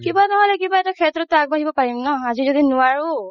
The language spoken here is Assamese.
কিবা নহ'লে কিবা এটা শেত্ৰততো আগবাঢ়িব পাৰিম ন আজি যদি নোৱাৰো